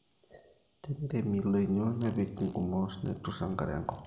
teneiremi ildoinyo nepiki nkumot neturr enkare enkop